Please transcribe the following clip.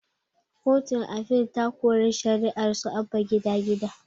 Kotun afil ta kori shari'arsu abba gida gida